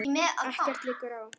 Ekkert liggur á.